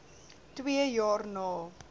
twee jaar na